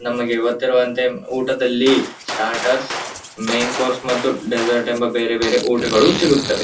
ನಮಗೆ ಗೊತ್ತಿರುವಂತೆ ಮ್ ಊಟದಲ್ಲಿ ಸ್ಟಾರ್ಟರ್ಸ್ ಮೇನ್ ಕೋರ್ಸ್ ಮತ್ತೆ ಡೆಸರ್ಟ್ ಎಂಬ ಬೇರೆ ಬೇರೆ ಊಟಗಳೂ ಸಿಗುತ್ತವೆ --